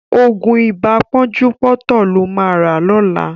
Ògùn ibà pọ́njúpọ́tọ̀ ló ma rà lọ́la